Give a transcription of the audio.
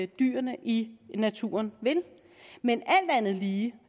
dyrene i naturen vil men alt andet lige